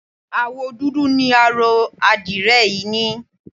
Àwọ̀ dúdú ni aró àdirẹ̀ yìí ní.